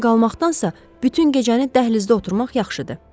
Burada qalmaqdansa, bütün gecəni dəhlizdə oturmaq yaxşıdır.